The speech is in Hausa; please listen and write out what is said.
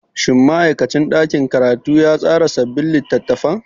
Shin ma'aikacin ɗakin karatu ya tsara sabbin littattafan?